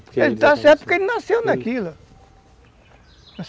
Ele está certo porque ele nasceu naquilo.